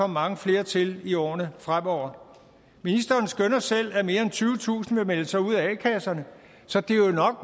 mange flere til i årene fremover ministeren skønner selv at mere end tyvetusind vil melde sig ud af a kasserne så det